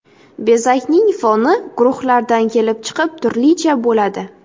Bezakning foni guruhlardan kelib chiqib turlicha bo‘ladi.